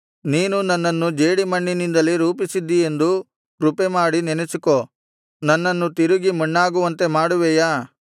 ನೀನು ನನ್ನನ್ನು ಜೇಡಿಮಣ್ಣಿನಿಂದಲೇ ರೂಪಿಸಿದ್ದೀಯೆಂದು ಕೃಪೆಮಾಡಿ ನೆನಸಿಕೋ ನನ್ನನ್ನು ತಿರುಗಿ ಮಣ್ಣಾಗುವಂತೆ ಮಾಡುವೆಯಾ